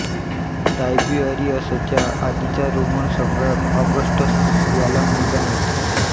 टायबीअरिअसच्या आधीचा रोमन सम्राट ऑगस्टस याला मुलगा नव्हता